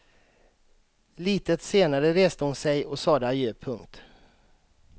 Litet senare reste hon sig och sade adjö. punkt